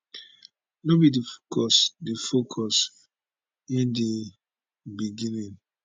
no be di focus di focus in di beginning